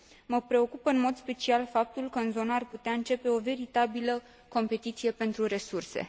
Mă preocupă în mod special faptul că în zonă ar putea începe o veritabilă competiție pentru resurse.